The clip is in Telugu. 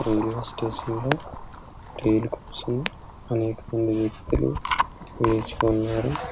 ఇక్కడ స్టేజి మీద కలిసి ఇక్కడ వచ్చి అంకం వ్వక్తులు వేచి ఉన్నారు.